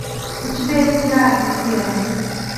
у тебя есть рай вера